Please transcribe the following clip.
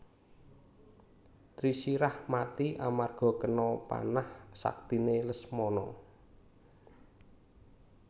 Trisirah mati amarga kena panah saktiné Lesmana